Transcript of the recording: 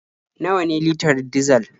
Nawa ne litar dizal?